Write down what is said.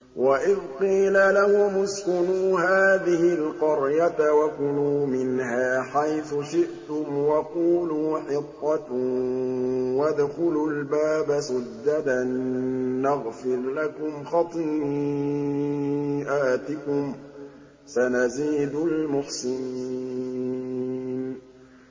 وَإِذْ قِيلَ لَهُمُ اسْكُنُوا هَٰذِهِ الْقَرْيَةَ وَكُلُوا مِنْهَا حَيْثُ شِئْتُمْ وَقُولُوا حِطَّةٌ وَادْخُلُوا الْبَابَ سُجَّدًا نَّغْفِرْ لَكُمْ خَطِيئَاتِكُمْ ۚ سَنَزِيدُ الْمُحْسِنِينَ